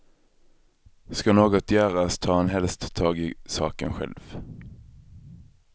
Ska något göras tar han helst tag i saken själv.